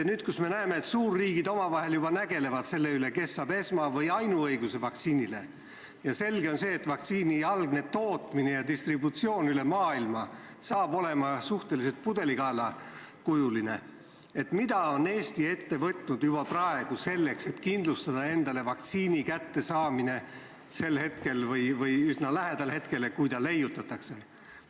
Nüüd, kui me näeme, et suurriigid omavahel juba nägelevad selle üle, kes saab esma- või ainuõiguse vaktsiinile, ja selge on see, et vaktsiini algne tootmine ja distributsioon üle maailma saab olema suhteliselt pudelikaelakujuline, siis mida on Eesti juba praegu ette võtnud selleks, et kindlustada endale vaktsiini kättesaamine sel hetkel või üsna lähedal sellele hetkele, kui see leiutatakse?